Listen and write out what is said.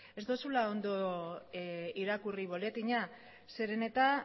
ez duzula ondo irakurri boletina zeren eta